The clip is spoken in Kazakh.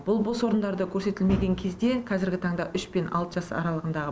бұл бос орындарда көрсетілмеген кезде қазіргі таңда үш пен алты жас аралығындағы